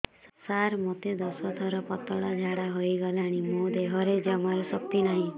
ସାର ମୋତେ ଦଶ ଥର ପତଳା ଝାଡା ହେଇଗଲାଣି ମୋ ଦେହରେ ଜମାରୁ ଶକ୍ତି ନାହିଁ